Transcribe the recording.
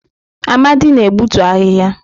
Amadi na-egbutu ahịhịa.